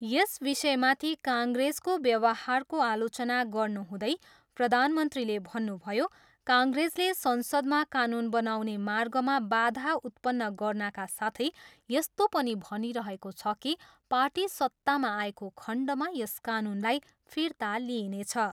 यस विषयमाथि काङ्ग्रेसको व्यवहारको आलोचना गर्नुहुँदै प्रधानमन्त्रीले भन्नुभयो, काङ्ग्रेसले संसदमा कानुन बनाउने मार्गमा बाधा उत्पन्न गर्नाका साथै यस्तो पनि भनिरहेको छ कि पार्टी सत्तामा आएको खण्डमा यस कानुनलाई फिर्ता लिइनेछ।